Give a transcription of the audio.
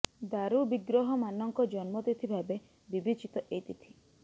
ଦାରୁ ବିଗ୍ରହମାନଙ୍କ ଜନ୍ମ ତିଥି ଭାବେ ବିବେଚିତ ଏହି ତିଥି